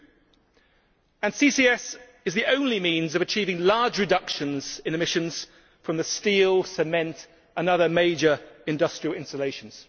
2. CCS is the only means of achieving large reductions in emissions from the steel, cement and other major industrial installations.